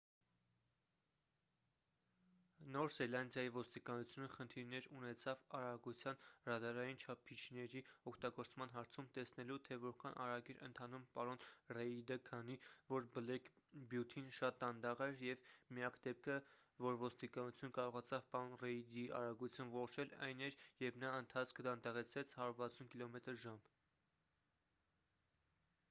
նոր զելանդիայի ոստիկանությունը խնդիրներ ունեցավ արագության ռադարային չափիչների օգտագործման հարցում՝ տեսնելու թե որքան արագ էր ընթանում պարոն ռեիդը քանի որ բլեք բյութին շատ դանդաղ էր և միակ դեպքը որ ոստիկանությունը կարողացավ պարոն ռեիդի արագությունը որոշել այն էր երբ նա ընթացքը դանդաղեցրեց 160 կմ/ժ: